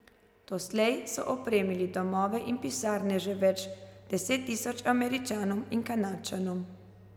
Doslej so opremili domove in pisarne že več deset tisoč Američanom in Kanadčanom.